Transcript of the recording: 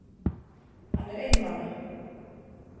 Hann er einmana.